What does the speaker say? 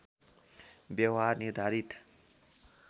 व्यवहार निर्धारित